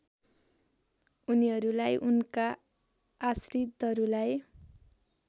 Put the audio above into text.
उनीहरूलाई उनका आश्रितहरूलाई